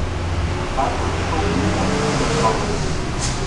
Ta je voznika vklenila in pridržala.